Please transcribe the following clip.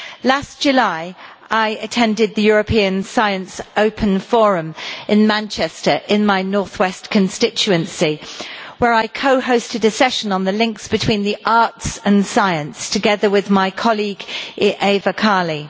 Last July I attended the European Science Open Forum in Manchester in my Northwest constituency where I co-hosted a session on the links between the arts and science together with my colleague Eva Kaili.